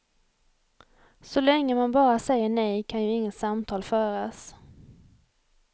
Så länge man bara säger nej kan ju inget samtal föras.